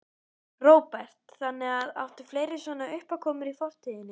Róbert: Þannig að, áttu fleiri svona uppákomur í fortíðinni?